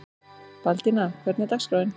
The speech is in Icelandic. Baldína, hvernig er dagskráin?